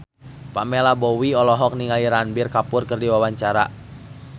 Pamela Bowie olohok ningali Ranbir Kapoor keur diwawancara